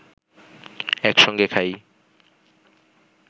একসঙ্গে খাই